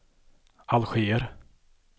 Alger